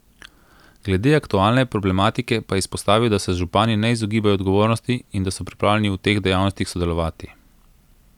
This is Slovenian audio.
Glede aktualne problematike pa je izpostavil, da se župani ne izogibajo odgovornosti in da so pripravljeni v teh dejavnostih sodelovati.